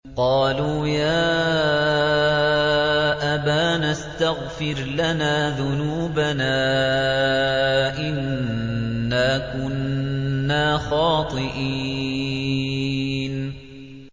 قَالُوا يَا أَبَانَا اسْتَغْفِرْ لَنَا ذُنُوبَنَا إِنَّا كُنَّا خَاطِئِينَ